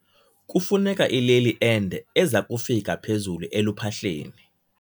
Kufuneka ileli ende eza kufika phezulu eluphahleni.